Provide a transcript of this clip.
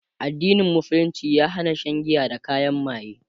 addinin musulunci ya Hana Shan giya da kayan maye